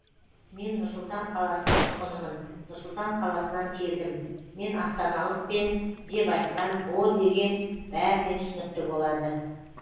мен нұр сұлтан қаласының тұрғынымын нұр сұлтан қаласынан келдім мен астаналықпен деп айтқан о деген бәріне түсінікті болады